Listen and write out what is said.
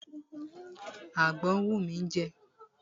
Àgbọn ń wù mí jẹ.